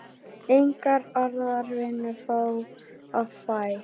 Enga aðra vinnu var að fá.